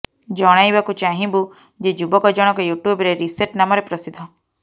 ଜଣାଇବାକୁ ଚାହିଁବୁ ଯେ ଯୁବକ ଜଣଙ୍କ ୟୁଟ୍ୟୁବରେ ରିସେଟ ନାମରେ ପ୍ରସିଦ୍ଧ